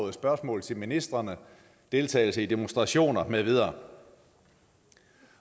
i spørgsmål til ministrene deltagelse i demonstrationer med videre